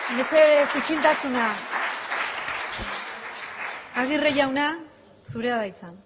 mesedez isiltasuna agirre jauna zurea da hitza